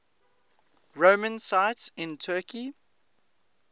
roman sites in turkey